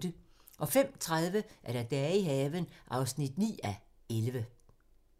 05:30: Dage i haven (9:11)